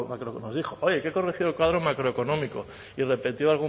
macroeconómico nos dijo oye que he corregido el cuadro macroeconómico y repitió